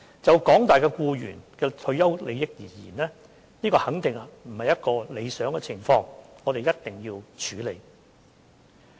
就廣大僱員的退休利益而言，這肯定不是一個理想的情況，我們必須處理。